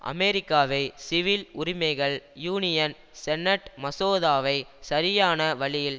அமெரிக்காவில் சிவில் உரிமைகள் union senate மசோதாவை சரியான வழியில்